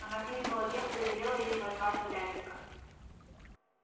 она кликнула девку и велела ей позвать урядника